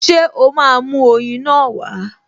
Ṣé ó máa mú oyin náà wá?